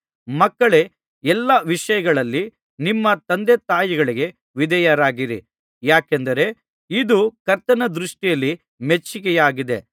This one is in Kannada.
ಮಕ್ಕಳೇ ಎಲ್ಲಾ ವಿಷಯಗಳಲ್ಲಿ ನಿಮ್ಮ ತಂದೆತಾಯಿಗಳಿಗೆ ವಿಧೇಯರಾಗಿರಿ ಯಾಕೆಂದರೆ ಇದು ಕರ್ತನ ದೃಷ್ಟಿಯಲ್ಲಿ ಮೆಚ್ಚಿಕೆಯಾಗಿದೆ